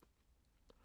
DR K